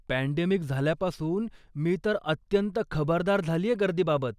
Pandemic झाल्यापासून मी तर अत्यंत खबरदार झालीये गर्दीबाबत.